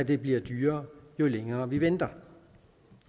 det bliver dyrere jo længere vi venter